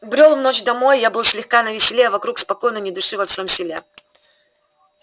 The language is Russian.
брёл в ночь домой я был слегка на веселе а вокруг спокойно ни души во всем селе